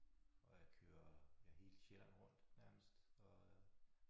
Og jeg kører ja hele Sjælland rundt nærmest og øh